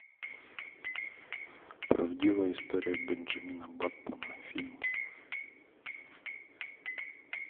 правдивая история бенджамина баттона фильм